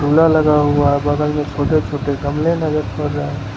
झूला लगा हुआ है बगल में छोटे छोटे गमले नजर पड़ रहे --